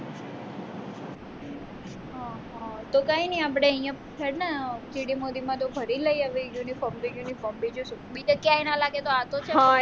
તો કઈ ની આપણે અહીંયા છે જ ને GD ફરી લઈ આવ્યે unform તો uniform બીજું શું બીજી ક્યાંય ન લાગે તો આતો છે જ ને